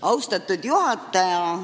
Austatud juhataja!